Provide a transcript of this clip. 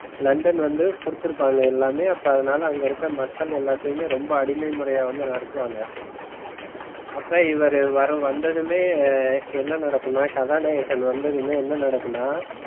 London வந்து புடிச்சி இருப்பாங்க எல்லாமே அப்ப அதனால அங்க இருக்க மக்கள் எல்லாத்தையும் ரொம்ப அடிமை முறையாக வந்து நடத்துவாங்க. அப்ப இவரு வரும் வந்ததுமே என்ன நடக்கும்னா கதாநாயகன் வந்ததுமே என்ன நடக்கும்னா,